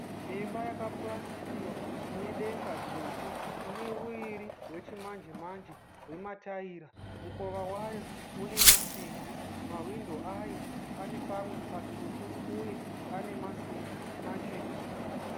Imba yakapurasitiwa ine denga dzvuku. Ine uriri wechimanje manje wetaira. Mukova wayo une masimbi. Mawindo ayo ane pamwe patsvuku uye ane masimbi machena.